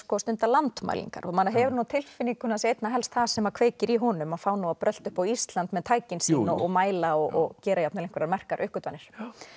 stunda landmælingar maður hefur á tilfinningunni að það sé einna helst það sem kveikir í honum að fá að brölta upp á Ísland með tækin sín og mæla og gera jafnvel einhverjar merkar uppgötvanir